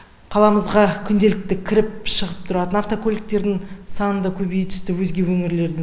қаламызға күнделікті кіріп шығып тұратын автокөліктердің саны да көбейе түсті өзге өңірлерден